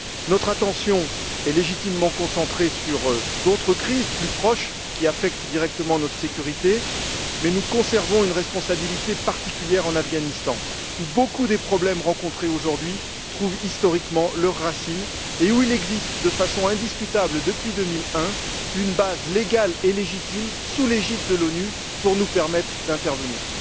Notre attention est légitimement concentrée sur d'autres crises plus proches qui affectent directement notre sécurité, mais nous conservons une responsabilité particulière en Afghanistan, où beaucoup des problèmes rencontrés aujourd'hui, trouvent historiquement leurs racines et où il existe de façon indiscutable depuis 2001 une base légale et légitime, sous l'égide de l'ONU, pour nous permettre d'intervenir.